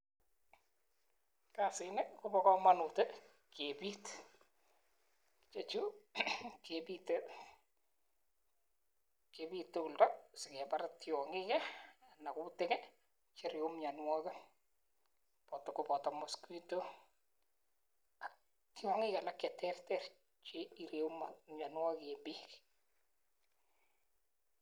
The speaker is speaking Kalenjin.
Kasii nii kobaa kamanut kebiit chechuu kebite tumdo sekepar tiangiik anan kutik che ireuu mianwakiik kobata notok mosquito ak tiangik che terter chee ireu mianwakik eng peek